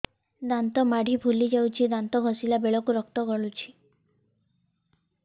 ଦାନ୍ତ ମାଢ଼ୀ ଫୁଲି ଯାଉଛି ଦାନ୍ତ ଘଷିଲା ବେଳକୁ ରକ୍ତ ଗଳୁଛି